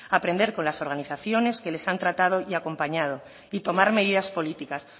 aprender con las organizaciones que les han tratado y acompañado y tomar medidas políticas